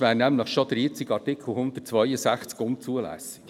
Sonst wäre nämlich der jetzige Artikel 162 unzulässig.